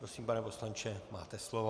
Prosím, pane poslanče, máte slovo.